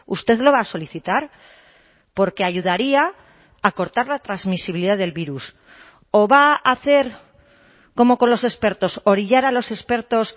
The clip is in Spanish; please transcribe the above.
usted lo va a solicitar porque ayudaría a cortar la transmisibilidad del virus o va a hacer como con los expertos orillar a los expertos